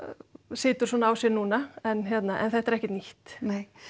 situr svona á sér núna en þetta er ekkert nýtt nei